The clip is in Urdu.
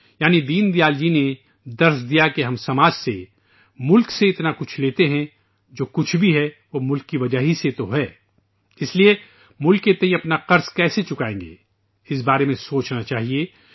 " یعنی دین دیال جی نےسبق سکھایا کہ ہم معاشرے سے ، ملک سے اتنا کچھ لیتے ہیں ، جو کچھ بھی ہے ، وہ ملک کی وجہ سے ہی تو ہے ، لہذا ملک کے تئیں اپنا قرض کیسے ادا کریں گے، اس سلسلے میں سوچنا چاہیے